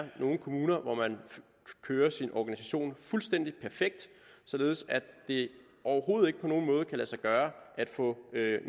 nogle kommuner hvor man kører sin organisation fuldstændig perfekt således at det overhovedet ikke på nogen måde kan lade sig gøre at få